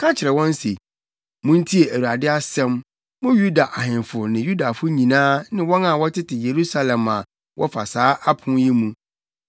Ka kyerɛ wɔn se, ‘Muntie Awurade asɛm, mo Yuda ahemfo ne Yudafo nyinaa ne wɔn a wɔtete Yerusalem a wɔfa saa apon yi mu.